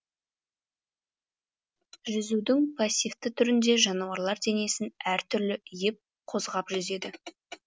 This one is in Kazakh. жүзудің пассивті түрінде жануарлар денесін әртүрлі иіп қозғап жүзеді